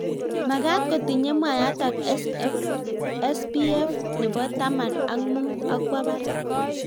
Magat kotinye mwayatak spf nebo taman ak mut akwo barak